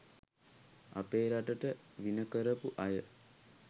අපේ රටට විණ කරපු අය.